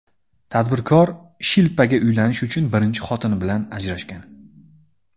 Tadbirkor Shilpaga uylanish uchun birinchi xotini bilan ajrashgan.